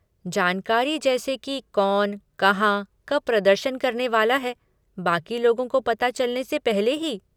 जानकारी जैसे कि कौन, कहाँ, कब प्रदर्शन करने वाला है, बाक़ी लोगों को पता चलने से पहले ही?